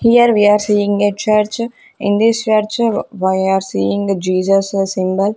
Here we are seeing a church in this church we are seeing Jesus symbol.